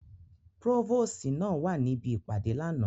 Próvòsi náa wa nibi ipade lánà.